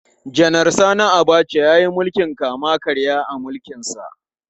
Janar Sani Abacha ya yi mulkin kama-karya a mulkinsa.